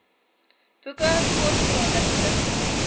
boeke kortverhale gedigte